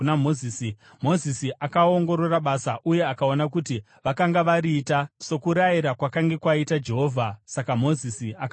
Mozisi akaongorora basa uye akaona kuti vakanga variita sokurayira kwakanga kwaita Jehovha. Saka Mozisi akavaropafadza.